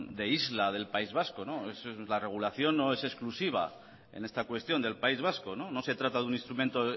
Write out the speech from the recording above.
de isla del país vasco la regulación no es exclusiva en esta cuestión del país vasco no se trata de un instrumento